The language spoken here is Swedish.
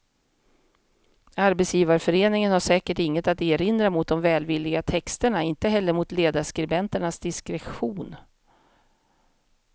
Arbetsgivarföreningen har säkert inget att erinra mot de välvilliga texterna, inte heller mot ledarskribenternas diskretion.